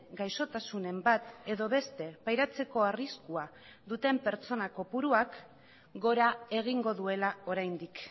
gaixotasunen bat edo beste pairatzeko arriskua duten pertsona kopuruak gora egingo duela oraindik